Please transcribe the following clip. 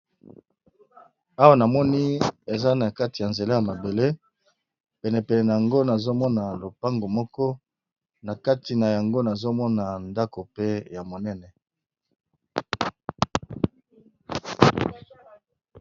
Awa namoni eza na kati ya nzela ya mabele pene pene na yango nazomona lopango moko na kati na yango nazomona ndako pe ya monene.